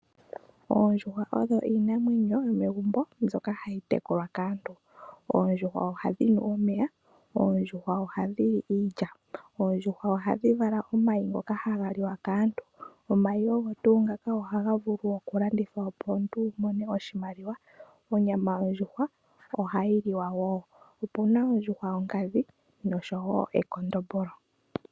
Oondjuhwa odho iinamwenyo yomegumbo mbyoka hayi tekulwa kaantu. Oondjuhwa ohadhi nu omeya, oondjuhwa ohadhi li iilya. Oondjuhwa ohadhi vala omayi ngoka haga liwa kaantu, omayi ogo tuu ngaka ohaga vulu okulandithwa opo omuntu wu mone oshimaliwa. Onyama yondjuhwa ohayi liwa woo. Opu na oondjuhwa yonkadhi noshowo ekondombolo.